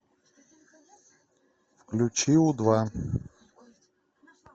включи у два